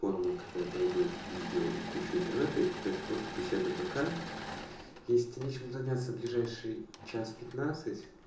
формы которые требуют видео и кучу интернета и пока это просто беседа в вк если нечем заняться ближайший час пятнадцать